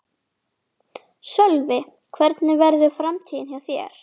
Sölvi: Hvernig verður framtíðin hjá þér?